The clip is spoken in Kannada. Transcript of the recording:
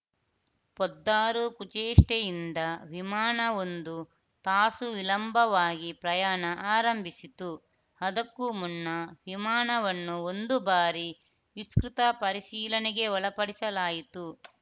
ಪೊದ್ದಾರ್‌ ಕುಚೇಷ್ಟೇಯಿಂದ ವಿಮಾನ ಒಂದು ತಾಸು ವಿಳಂಬವಾಗಿ ಪ್ರಯಾಣ ಆರಂಭಿಸಿತು ಅದಕ್ಕೂ ಮುನ್ನ ವಿಮಾನವನ್ನು ಒಂದು ಬಾರಿ ವಿಸ್ತೃತ ಪರಿಶೀಲನೆಗೆ ಒಳಪಡಿಸಲಾಯಿತು